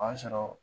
O y'a sɔrɔ